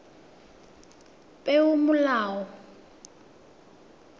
peomolao